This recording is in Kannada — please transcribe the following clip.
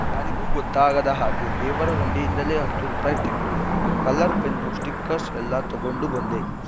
ಯಾರಿಗೂ ಗೊತ್ತಾಗದ ಹಾಗೆ ದೇವರ ಹುಂಡಿಯಿಂದಲೇ ಹತ್ತು ರೂಪಾಯಿ ತೆಗ್ದು ಕಲರ್‌ ಪೆನ್ನು ಸ್ಟಿಕ್ಕರ್‍ಸ್ ಎಲ್ಲ ತಗೊಂಡು ಬಂದೆ